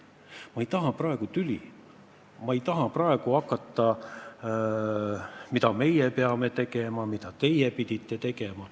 Ma ei taha praegu tüli, ma ei taha praegu hakata seletama, mida meie peame tegema, mida teie pidite tegema.